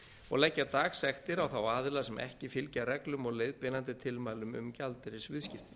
og leggja dagsektir á þá aðila sem ekki fylgja reglum og leiðbeinandi tilmælum um gjaldeyrisviðskipti